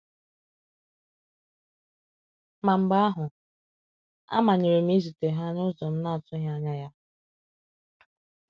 Ma mgbe ahụ, a manyere m izute ha n’ụzọ m na-atụghị anya ya.